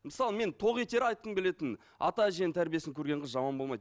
мысалы мен тоқетері айтқым келетіні ата әженің тәрбиесін көрген қыз жаман болмайды